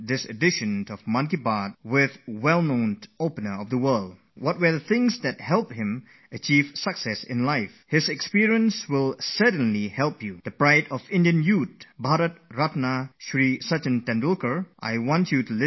I am confident that students who will be appearing for exams will find what I have to say immensely useful to them